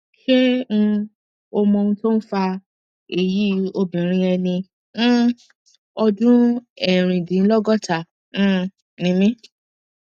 ṣé um o mọ ohun tó ń fa èyí obìnrin ẹni um ọdún erindinlogota um ni mí